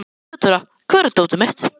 Þeódóra, hvar er dótið mitt?